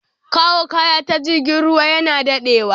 Kawo kaya ta jirgin ruwa yana dadewa